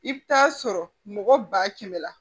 I bɛ taa sɔrɔ mɔgɔ ba kɛmɛ la